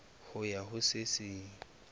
ho ya ho se seng